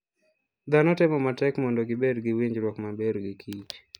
Dhano temo matek mondo gibed gi winjruok maber gi kich.